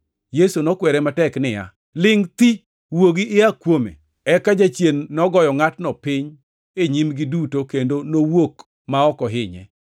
Yesu nokwere matek niya, “Lingʼ thi! Wuogi ia kuome!” Eka jachien nogoyo ngʼatno piny e nyimgi duto kendo nowuok ma ok ohinye.